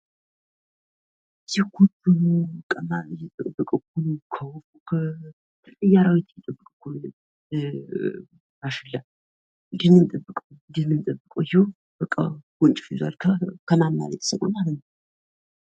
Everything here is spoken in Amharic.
የግብርና ምርቶችን ወደ ገበያ ማቅረብና ተወዳዳሪ ማድረግ የመንግስትና የባለድርሻ አካላት የትኩረት አቅጣጫ መሆን አለበት።